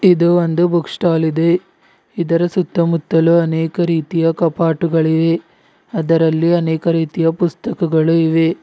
ಇದು ಒಂದು book stall ಇದೆ ಇದರ ಸುತ್ತಮುತ್ತಲು ಅನೇಕ ರೀತಿಯ ಕಪಾಟುಗಳಿವೆ ಅದರಲ್ಲಿ ಅನೇಕ ರೀತಿಯ ಪುಸ್ತಕಗಳು ಇವೆ